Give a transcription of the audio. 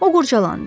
O qurdalandı.